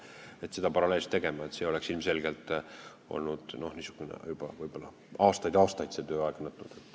Kui me oleksime seda paralleelselt teinud, siis see oleks ilmselgelt kestnud aastaid ja aastaid.